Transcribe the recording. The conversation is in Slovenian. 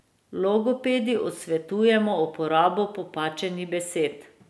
Logopedi odsvetujemo uporabo popačenih besed.